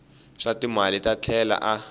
swa timali a tlhela a